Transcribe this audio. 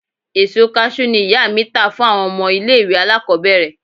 Èso Kaṣú ni ìyá mi tà fún àwọn ọmọ ilẹ̀ ìwẹ̀ alákòbẹ̀rẹ̀